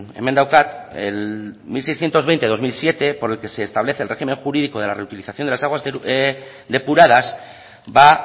hemen daukat el mil seiscientos veinte barra dos mil siete por el que ese establece el régimen jurídico de la reutilización de las aguas depuradas ba